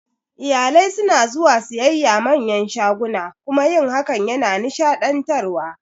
Iyalai suna zuwa siyayya a manyan shaguna kuma yin hakan yana nishaɗantarwa